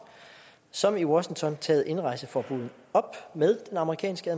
som i washington taget indrejseforbuddet op med den amerikanske